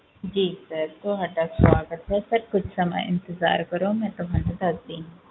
ਜੀ sir ਤੁਹਾਡਾ ਸਵਾਗਤ ਹੈ sir ਕੁਛ ਸਮਾਂ ਇੰਤਜ਼ਾਰ ਕਰੋ ਮੈਂ ਤੁਹਾਨੂੰ ਦੱਸਦੀ ਹਾਂ।